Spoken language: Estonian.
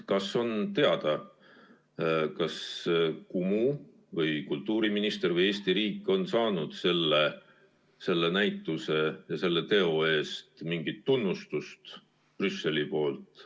Kas on teada, kas Kumu või kultuuriminister või Eesti riik on saanud selle näituse ja selle teo eest Brüsselilt mingit tunnustust?